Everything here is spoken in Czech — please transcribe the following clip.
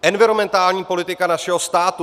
Environmentální politika našeho státu.